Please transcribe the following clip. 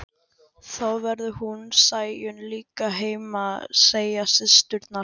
Þá verður hún Sæunn líka heima, segja systurnar.